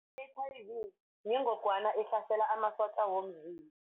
I-H_I_V yingogwana ehlasela amasotja womzimba.